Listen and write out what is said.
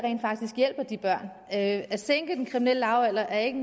faktisk hjælper de børn at at sænke den kriminelle lavalder er ikke